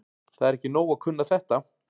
Það er ekki nóg að kunna þetta.